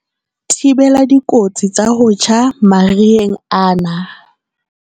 Thibela dikotsi tsa ho tjha mariheng ana.